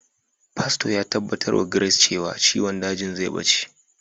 Fasto ya tabbatar wa Gres cewa ciwon dajin zai ɓace.